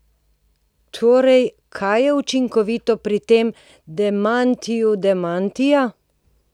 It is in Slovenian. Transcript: Torej, kaj je učinkovito pri tem demantiju demantija?